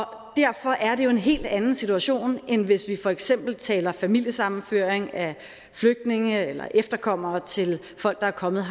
derfor er det jo en helt anden situation end hvis vi for eksempel taler familiesammenføring af flygtninge eller efterkommere til folk der er kommet